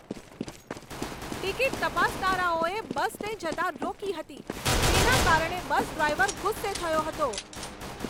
Ticket તપાસનારાઓએ બસને જતાં રોકી હતી તેના કારણે બસ ડ્રાઈવર ગુસ્સે થયો હતો.